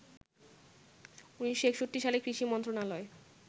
১৯৬১ সালে কৃষি মন্ত্রণালয়